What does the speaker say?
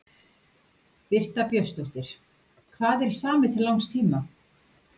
Birta Björnsdóttir: Hvað er samið til langs tíma?